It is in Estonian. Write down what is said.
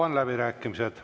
Avan läbirääkimised.